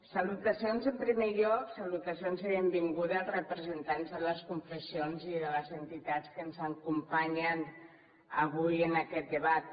salutacions en primer lloc salutacions i benvinguda als representants de les confessions i de les entitats que ens acompanyen avui en aquest debat